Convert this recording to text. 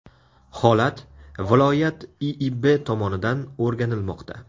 Holat viloyat IIB tomonidan o‘rganilmoqda.